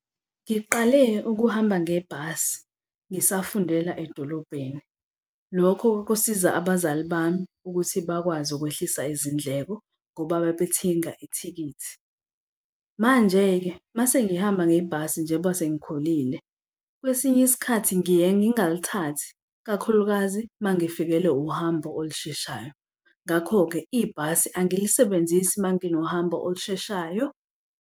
Ngiqale ukuhamba ngebhasi, ngisafundela edolobheni. Lokho kwakusiza abazali bami ukuthi bakwazi ukwehlisa izindleko ngoba babethinga ithikithi. Manje-ke uma sengihamba ngebhasi njengoba sengikhulile kwesinye isikhathi ngiye ngingalithathi kakhulukazi uma ngifikelwe uhambo olusheshayo. Ngakho-ke ibhasi angilisebenzisi uma nginohambo olusheshayo.